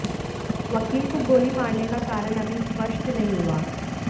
वकील को गोली मारने का कारण अभी स्पष्ट नहीं हुआ